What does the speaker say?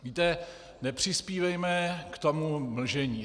Víte, nepřispívejme k tomu mlžení.